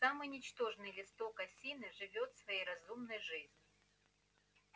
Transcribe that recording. самый ничтожный листок осины живёт своей разумной жизнью